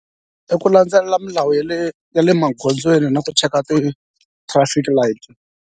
I ku landzelela milawu ya le ya le magondzweni na ku cheka ti-traffic light.